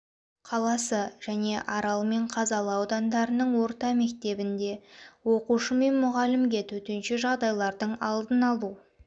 қаласы және арал мен қазалы аудандарының орта мектебінде оқушы мен мұғалімге төтенше жағдайлардың алдын алу